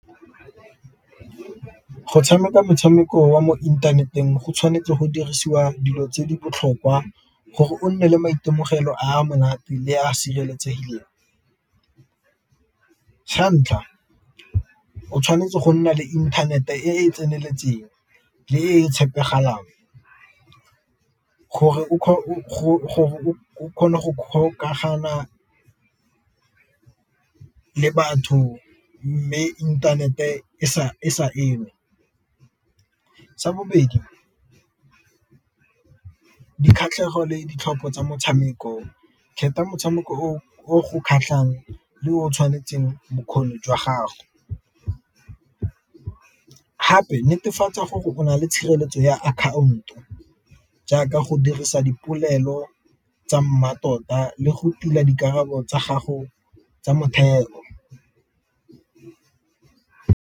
Go tshameka motshameko wa mo inthaneteng go tshwanetse go dirisiwa dilo tse di botlhokwa gore o nne le maitemogelo a monate le a sireletsegileng, sa ntlha o tshwanetse go nna le internet e e tseneletseng le e tshepegalang gore o kgone go gokagana le batho, mme inthanete e sa eme. Sa bobedi dikgatlhegelo le ditlhopho tsa motshameko, kgetha motshameko o go kgatlhang le o tshwanetseng bokgoni jwa gago, gape netefatsa gore o na le tshireletso ya account-o jaaka go dirisa dipolelo tsa mmatota le go tila dikarabo tsa gago tsa motheo.